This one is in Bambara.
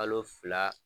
Kalo fila